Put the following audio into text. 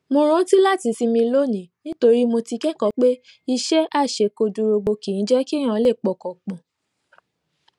mo rántí láti sinmi lónìí nítorí mo ti kékòó pé iṣé àṣekúdórógbó kì í jé kí n lè pọkàn pò